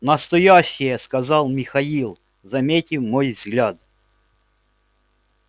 настоящие сказал михаил заметив мой взгляд